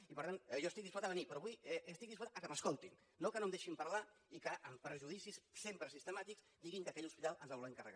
i per tant jo estic disposat a venir però avui estic disposat que m’escoltin no que no em deixin parlar i que amb prejudicis sempre sistemàtics diguin que aquell hospital ens el volem carregar